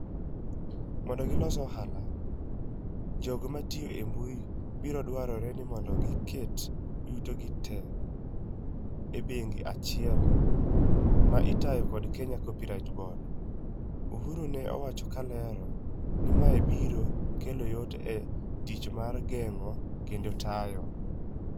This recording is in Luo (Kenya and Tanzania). "Mondo gilos ohala, jogo matio e mbui koro biro dwarore ni mondo oket yuto gi te e bengi achiel ma itayo kod Kenya Copyright Board," Uhuru ne owacho kolero ni ma biro kelo yot e tich mar geng'o kendo tayo.